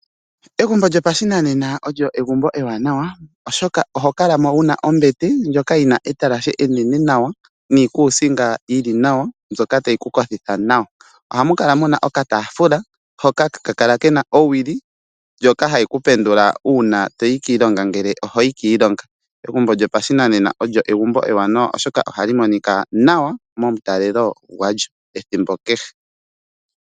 Egumbo lyopashinanena olyo egumbo ewanawa oshoka oho kalamo wuna ombete ndjoka yina etalashe enene nawa, niikuusinga iinene nawa mbyoka tayi ku kothitha nawa. Ohayi kala yina okataafula hoka haka kala kena owili, ndjoka hayi kupendula ngele toyi kiilonga ngele ohoyi kiilonga. Egumbo ewanawa oshoka ohali monika nawa momutalelo gwalyo ethimbo kehe.